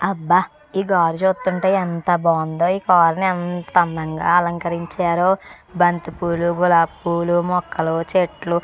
అబ్బా ఈ కారు చూస్తుంటే ఎంత బావుందో ఈ కారుని ఎంత అందంగా అలంకరించారో బంతిపూలు గులాబీ పువ్వులు మొక్కలు చెట్లు--